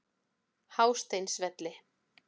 Hásteinsvelli